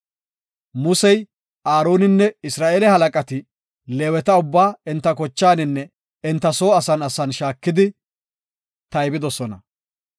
Musey, Aaroninne Isra7eele halaqati Leeweta ubbaa enta kochaaninne enta soo asan asan shaakidi tayba.